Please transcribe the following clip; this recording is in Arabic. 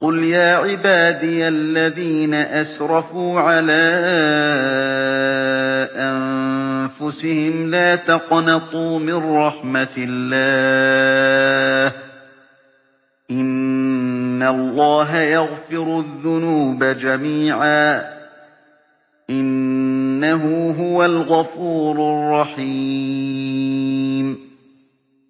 ۞ قُلْ يَا عِبَادِيَ الَّذِينَ أَسْرَفُوا عَلَىٰ أَنفُسِهِمْ لَا تَقْنَطُوا مِن رَّحْمَةِ اللَّهِ ۚ إِنَّ اللَّهَ يَغْفِرُ الذُّنُوبَ جَمِيعًا ۚ إِنَّهُ هُوَ الْغَفُورُ الرَّحِيمُ